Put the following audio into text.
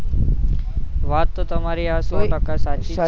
વાત તો તમારી આ સૌ ટકા સાચી છે